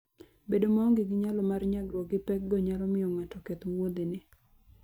Bedo maonge gi nyalo mar nyagruok gi pekgo nyalo miyo ng'ato oketh wuodhene.